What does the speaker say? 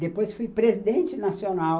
Depois fui presidente nacional